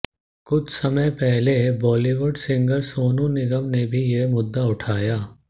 कुछ समय पहले बॉलीवुड सिंगर सोनू निगम ने भी ये मुद्दा उठाया